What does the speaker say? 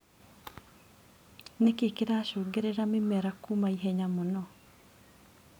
Nĩkĩ kĩracũngĩrĩria mĩmera kũma ihenya mũno.